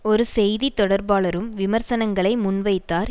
ஒரு செய்தி தொடர்பாளரும் விமர்சனங்களை முன்வைத்தார்